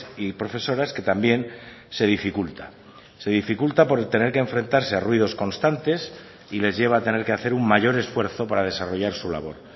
y profesoras que también se dificulta se dificulta por tener que enfrentarse a ruidos constantes y les lleva a tener que hacer un mayor esfuerzo para desarrollar su labor